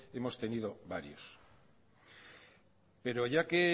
hemos tenido varios pero ya que